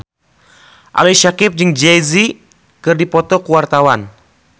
Ali Syakieb jeung Jay Z keur dipoto ku wartawan